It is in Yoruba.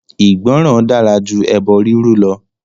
Ìgbọ́ràn dára jú ẹbọ rírú lọ.